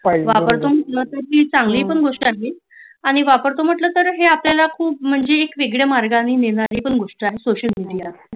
वापरतो म्णिहंटल तरी चांगली पण गोष्ट आहे वापरतो म्हटलो तर आता तर खुप म्हणजे एक वेगळ्या मार्गाने नेणारी पण गोष्ट आहे सोशल मेडिया